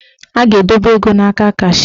A ga-edobe ego n'aka kashịa.